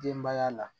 Denbaya la